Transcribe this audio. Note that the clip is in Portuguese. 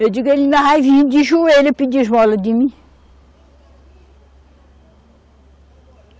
Eu digo, ele ainda vai vir de joelho pedir esmola de mim.